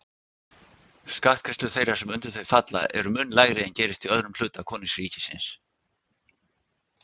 Skattgreiðslur þeirra sem undir þau falla eru mun lægri en gerist í öðrum hluta konungsríkisins.